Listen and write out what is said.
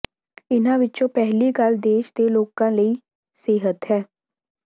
ਇਹਨਾਂ ਵਿੱਚੋਂ ਪਹਿਲੀ ਗੱਲ ਦੇਸ਼ ਦੇ ਲੋਕਾਂ ਲਈ ਸਿਹਤ ਹੈ